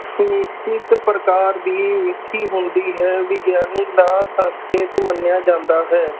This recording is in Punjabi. ਨਿਸ਼ਚਿਤ ਪ੍ਰਕਾਰ ਦੀ ਹੁੰਦੀ ਹੈ, ਵਿਗਿਆਨਕ ਦਾ ਸੰਸ੍ਰਕਿਤ ਮੰਨਿਆ ਜਾਂਦਾ ਹੈ।